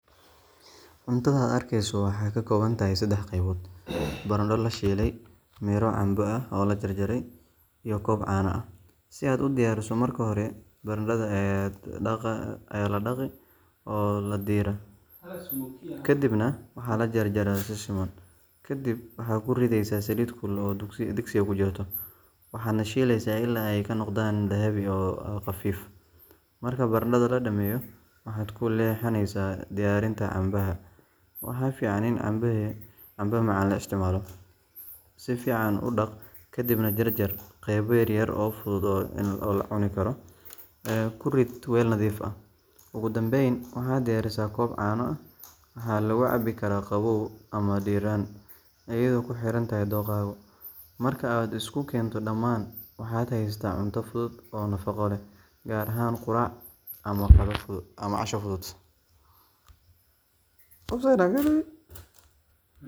Cuntadan aad arkeyso waxay ka kooban tahay saddex qeybood: baradho la shiilay, miro camba ah oo la jarjaray, iyo koob caano ah. Si aad u diyaariso, marka hore baradhada ayaa la dhaqaa oo la diiraa, kadibna waxaa la jarjarayaa si siman. Kadib waxaad ku ridaysaa saliid kulul oo digsiga ku jirta, waxaadna shiilaysaa ilaa ay ka noqdaan dahabi ah oo khafiif ah. Marka baradhada la dhammeeyo, waxaad u leexanaysaa diyaarinta cambeha. Waxaa fiican in cambe macaan la isticmaalo. Si fiican u dhaq, kadibna jarjar qaybo yaryar oo fudud in la cuno. Ku rid weel nadiif ah. Ugu dambeyn, waxaad diyaarsataa koob caano ah waxaa lagu cabbi karaa qabow ama diirran, iyadoo ku xiran dookhaaga. Marka aad isku keento dhammaan, waxaad haysataa cunto fudud oo nafaqo leh, gaar ahaan quraac ama casho fudud.